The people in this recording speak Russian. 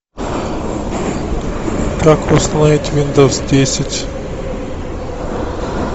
как установить виндовс десять